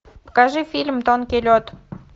покажи фильм тонкий лед